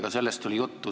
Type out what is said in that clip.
Ka sellest oli juttu.